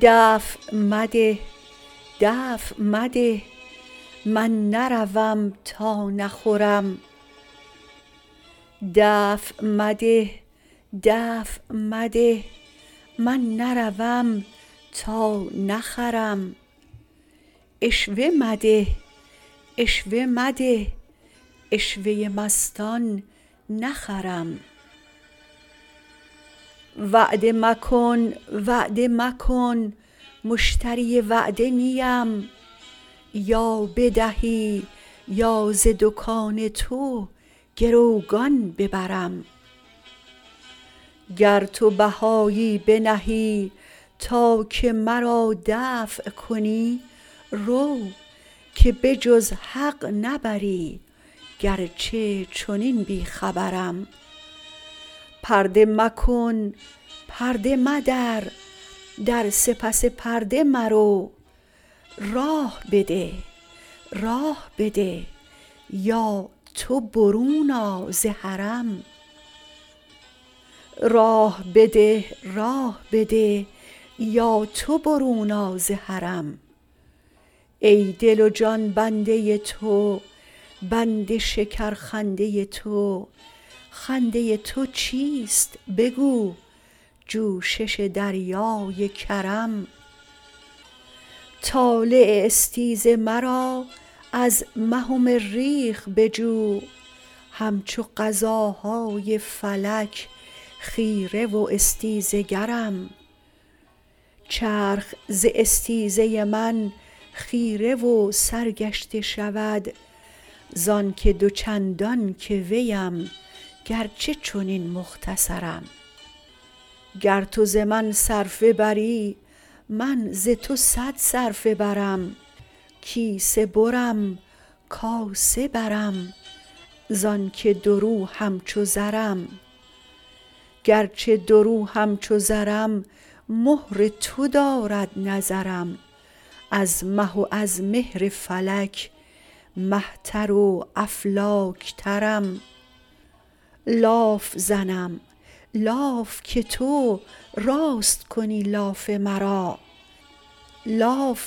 دفع مده دفع مده من نروم تا نخورم عشوه مده عشوه مده عشوه ی مستان نخرم وعده مکن وعده مکن مشتری وعده نی ام یا بدهی یا ز دکان تو گروگان ببرم گر تو بهایی بنهی تا که مرا دفع کنی رو که به جز حق نبری گرچه چنین بی خبرم پرده مکن پرده مدر در سپس پرده مرو راه بده راه بده یا تو برون آ ز حرم ای دل و جان بنده تو بند شکرخنده ی تو خنده ی تو چیست بگو جوشش دریای کرم طالع استیز مرا از مه و مریخ بجو همچو قضاهای فلک خیره و استیزه گرم چرخ ز استیزه من خیره و سرگشته شود زانک دو چندان که ویم گرچه چنین مختصرم گر تو ز من صرفه بری من ز تو صد صرفه برم کیسه برم کاسه برم زانک دورو همچو زرم گرچه دورو همچو زرم مهر تو دارد نظرم از مه و از مهر فلک مه تر و افلاک ترم لاف زنم لاف که تو راست کنی لاف مرا ناز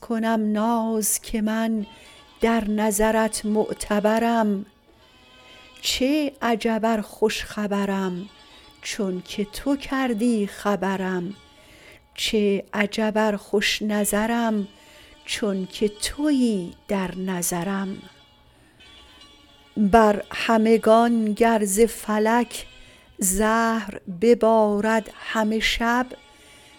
کنم ناز که من در نظرت معتبرم چه عجب ار خوش خبرم چونک تو کردی خبرم چه عجب ار خوش نظرم چونک توی در نظرم بر همگان گر ز فلک زهر ببارد همه شب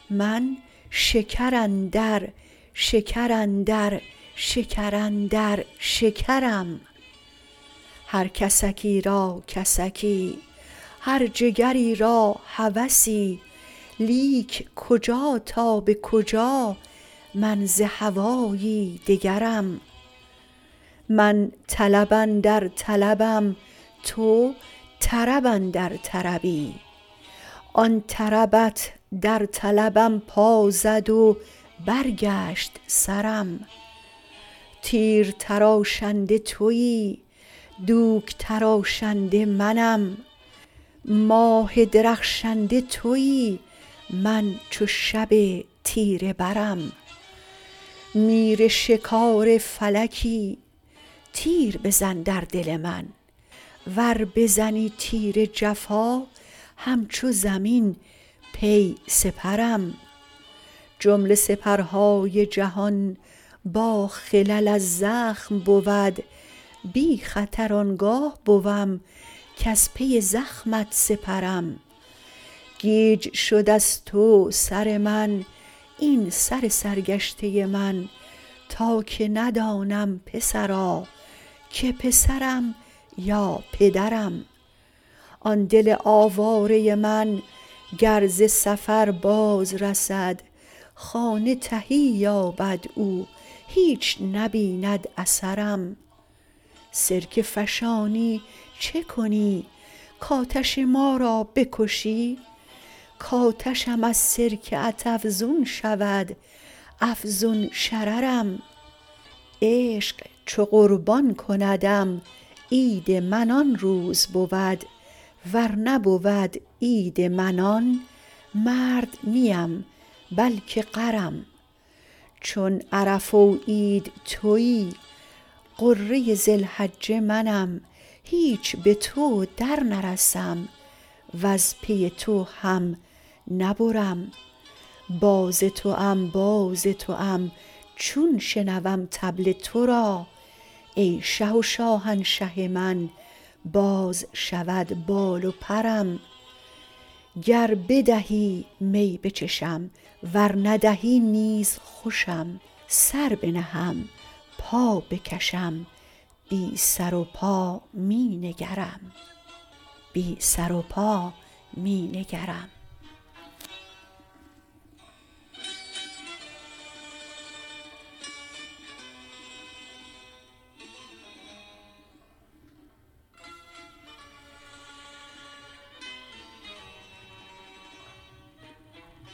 من شکر اندر شکر اندر شکر اندر شکرم هر کسکی را کسکی هر جگری را هوسی لیک کجا تا به کجا من ز هوایی دگرم من طلب اندر طلبم تو طرب اندر طربی آن طربت در طلبم پا زد و برگشت سرم تیر تراشنده توی دوک تراشنده منم ماه درخشنده توی من چو شب تیره برم میرشکار فلکی تیر بزن در دل من ور بزنی تیر جفا همچو زمین پی سپرم جمله سپرهای جهان باخلل از زخم بود بی خطر آن گاه بوم کز پی زخمت سپرم گیج شد از تو سر من این سر سرگشته من تا که ندانم پسرا که پسرم یا پدرم آن دل آواره من گر ز سفر بازرسد خانه تهی یابد او هیچ نبیند اثرم سرکه فشانی چه کنی کآتش ما را بکشی کآتشم از سرکه ات افزون شود افزون شررم عشق چو قربان کندم عید من آن روز بود ور نبود عید من آن مرد نی ام بلک غرم چون عرفه و عید توی غره ذی الحجه منم هیچ به تو درنرسم وز پی تو هم نبرم باز توام باز توام چون شنوم طبل تو را ای شه و شاهنشه من باز شود بال و پرم گر بدهی می بچشم ور ندهی نیز خوشم سر بنهم پا بکشم بی سر و پا می نگرم